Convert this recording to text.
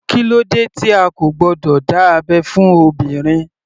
Kílódé tí a kò gbọdọ̀ dá abẹ́ fún obìnrin.